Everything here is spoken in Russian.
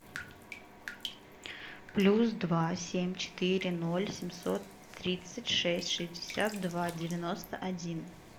плюс два семь четыре ноль семьсот тридцать шесть шестьдесят два девяносто один